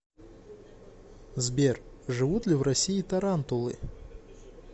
сбер живут ли в россии тарантулы